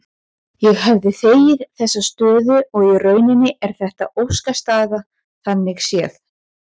Ég hefði þegið þessa stöðu og í rauninni er þetta óskastaða þannig séð.